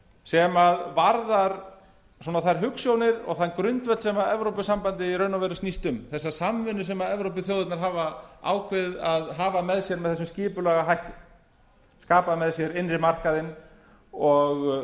sem varðar þær hugsjónir og þann grundvöll sem evrópusambandið í raun og veru snýst um þessa samvinnu sem evrópuþjóðirnar hafa ákveðið að hafa með sér með þessum skipulega hætti skapa með sér innri markaðinn og